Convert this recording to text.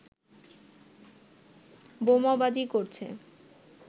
বোমাবাজি করছে